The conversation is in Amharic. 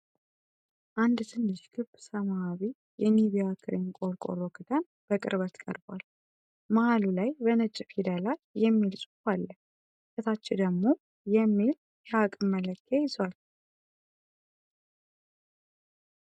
አንድ ትንሽ ክብ ሰማያዊ የኒቪያ ክሬም ቆርቆሮ ክዳን በቅርበት ቀርቧል። መሃሉ ላይ በነጭ ፊደላት "NIVEA Creme" የሚል ጽሑፍ አለ፤ ከታች ደግሞ "NET WT. 1 oz 29g $\cdot$ 30mL" የሚል የአቅም መለኪያ ይዟል።